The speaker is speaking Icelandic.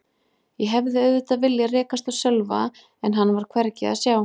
Ég hefði auðvitað viljað rekast á Sölva en hann var hvergi að sjá.